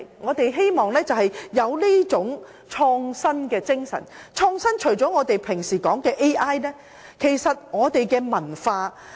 我們應擁有這種創新精神，而創新除了我們經常說的 AI 外，還包括文化。